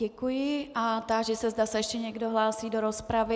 Děkuji a táži se, zda se ještě někdo hlásí do rozpravy.